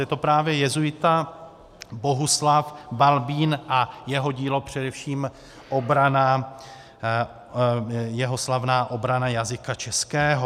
Je to právě jezuita Bohuslav Balbín a jeho dílo, především jeho slavná obrana jazyka českého.